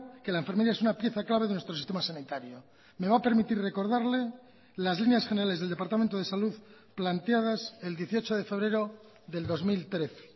que la enfermería es una pieza clave de nuestro sistema sanitario me va a permitir recordarle las líneas generales del departamento de salud planteadas el dieciocho de febrero del dos mil trece